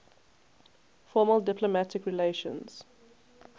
formal diplomatic relations